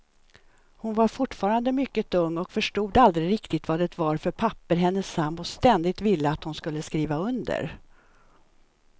Hon var fortfarande mycket ung och förstod aldrig riktigt vad det var för papper hennes sambo ständigt ville att hon skulle skriva under.